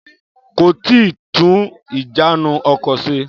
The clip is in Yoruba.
Kò tíì tún ìjánu ọkọ̀ se.